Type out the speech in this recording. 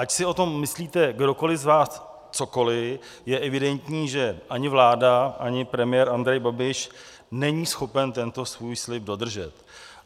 Ať si o tom myslíte kdokoliv z vás cokoliv, je evidentní, že ani vláda, ani premiér Andrej Babiš není schopen tento svůj slib dodržet.